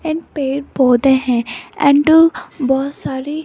and पेड़ पौधे हैं एंड बहोत सारी--